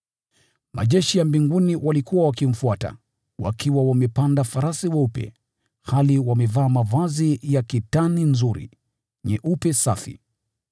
Majeshi ya mbinguni walikuwa wakimfuata, wakiwa wamepanda farasi weupe, hali wamevaa mavazi ya kitani safi, nyeupe na nzuri.